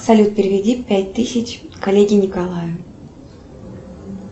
салют переведи пять тысяч коллеге николаю